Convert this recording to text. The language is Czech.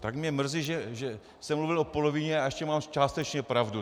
Tak mně mrzí, že jsem mluvil o polovině, a ještě mám částečně pravdu.